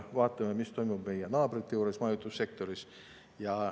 Vaatame, mis toimub meie naabrite juures majutussektoris.